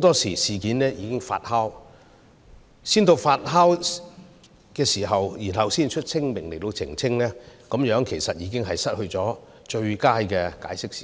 待事件發酵後才發聲明澄清，其實這樣已失去最佳的解釋時機。